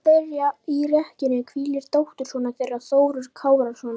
Milli þeirra í rekkjunni hvílir dóttursonur þeirra, Þórður Kárason.